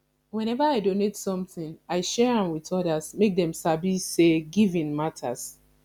whenever i donate something i share am with others make dem sabi say giving matters